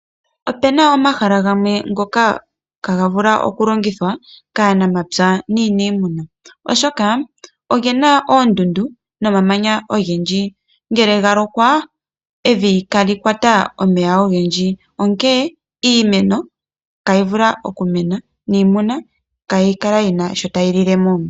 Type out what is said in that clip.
Opuna omahala gamwe ngoka ihaaga vulu okulongithwa kaanamapya nuuniimuna, oshoka oge na oondundu nomamanya ogendji. Ngele ga lokwa evi ihali kwata omeya ogendji onkene iimeno itayi mene niimuna itayi lilemo sha.